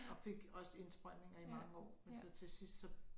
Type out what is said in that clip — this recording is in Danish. Og fik også indsprøjtninger i mange år men så til sidst så